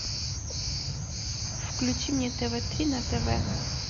включи мне тв три на тв